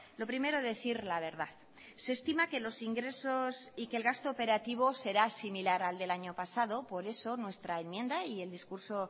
lo primero decir la verdad se estima que los ingresos y que el gasto operativo será similar al del año pasado por eso nuestra enmienda y el discurso